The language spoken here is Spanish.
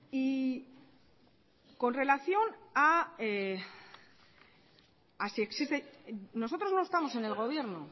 nosotros no estamos en el gobierno